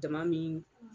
Jama min